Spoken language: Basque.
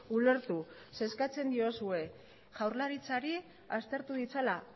ulertu zeren eskatzen diozue jaurlaritzari aztertu ditzala